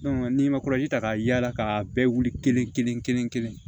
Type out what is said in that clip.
n'i ma kɔlɔsi ta ka yaala k'a bɛɛ wuli kelen kelen kelen kelen kelen